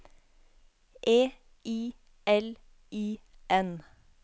E I L I N